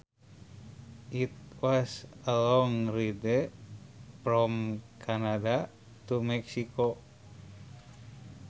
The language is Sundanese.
It was a long ride from Canada to Mexico